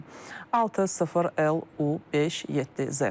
FİN 60LU57Z.